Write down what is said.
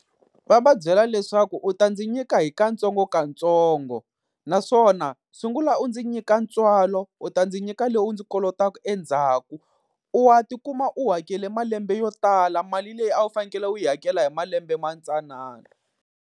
Va va byela leswaku u ta ndzi nyika hi kantsongkantsongo, naswona sungula u ndzi nyika ntswalo u ta ndzi nyika leyi u ndzi kolotaka endzhaku. U wa tikuma u hakeli malembe yo tala mali leyi a wu fanekele u yi hakela hi malembe matsanana.